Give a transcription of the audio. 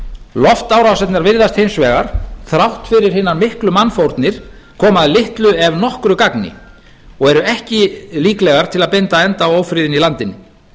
loftárásirnar virðast hins vegar þrátt fyrir hinar miklu mannfórnir koma að litlu ef nokkru gagni og eru ekki líklegar til að binda endi á ófriðinn í landinu